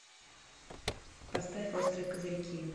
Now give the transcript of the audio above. поставь острые козырьки